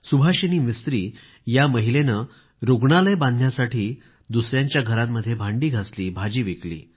सुभाषिनी मिस्त्री या महिलेने रूग्णालय बांधण्यासाठी दुसऱ्यांच्या घरांमध्ये भांडी घासली भाजी विकली